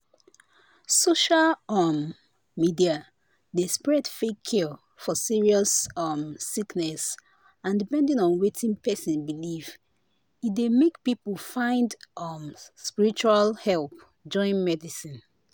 social um media dey spread fake cure for serious um sickness and depending on wetin person believe e dey make people find um spiritual help join medicine."